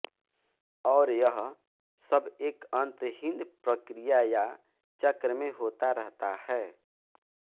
और यह सब एक अंतहीन प्रक्रिया या चक्र में होता रहता है